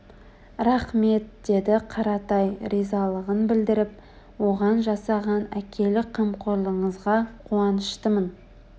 рақмет деді қаратай ризалығын білдіріп оған жасаған әкелік қамқорлығыңызға қуаныштымын